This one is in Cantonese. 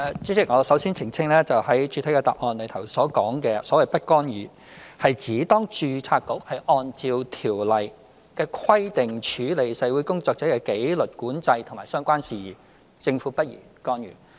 主席，我首先澄清，在主體答覆所說的"不干預"，是指當註冊局按照《條例》的規定處理社會工作者的紀律管制及相關事宜，政府不宜干預。